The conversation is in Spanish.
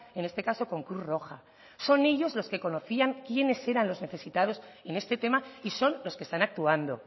en este caso con cruz roja son ellos los que conocían quiénes eran los necesitados en este tema y son los que están actuando